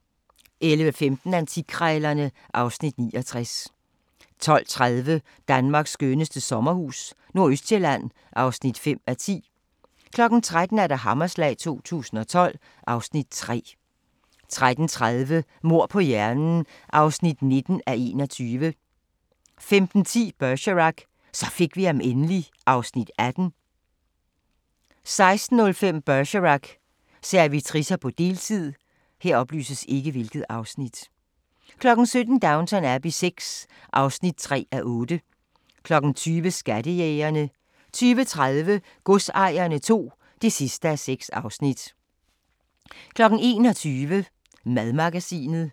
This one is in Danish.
11:15: Antikkrejlerne (Afs. 69) 12:30: Danmarks skønneste sommerhus - nordøstsjælland (5:10) 13:00: Hammerslag 2012 (Afs. 3) 13:30: Mord på hjernen (19:21) 15:10: Bergerac: Så fik vi ham endelig (Afs. 18) 16:05: Bergerac: Servitricer på deltid 17:00: Downton Abbey VI (3:8) 20:00: Skattejægerne 20:30: Godsejerne II (6:6) 21:00: Madmagasinet